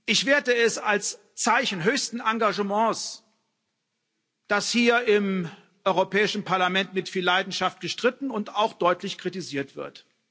Ich werte es als Zeichen höchsten Engagements, dass hier im Europäischen Parlament mit viel Leidenschaft gestritten und auch deutlich kritisiert wird.